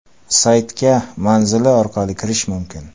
Saytga manzili orqali kirish mumkin.